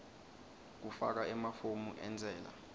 kufaka emafomu entsela